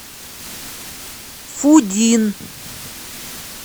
фудин